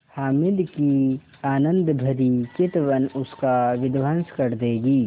हामिद की आनंदभरी चितवन उसका विध्वंस कर देगी